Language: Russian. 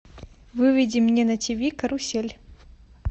выведи мне на тв карусель